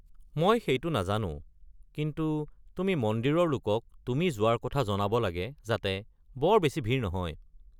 মই সেইটো নাজানো কিন্তু তুমি মন্দিৰৰ লোকক তুমি যোৱাৰ কথা জনাব লাগে যাতে বৰ বেছি ভিৰ নহয়।